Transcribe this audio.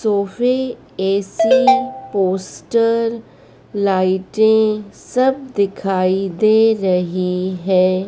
सोफे AC poster लाइटें सब दिखाई दे रही है।